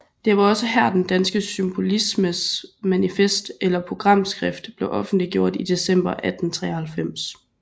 Det var også her den danske Symbolismes manifest eller programskrift blev offentliggjort i december 1893